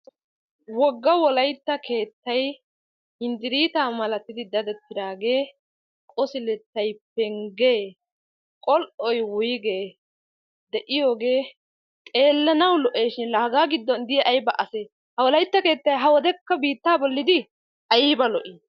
Woga wolaytta keettay hinditiitaa malatidi keexettidaagee de'iyaagee ayba lo'ii? ha wolaytta keettay biittaa boli de'ii?